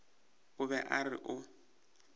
o be a re o